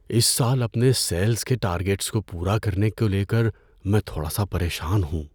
اس سال اپنے سیلز کے ٹارگیٹس پورا کرنے کو لے کر میں تھوڑا سا پریشان ہوں۔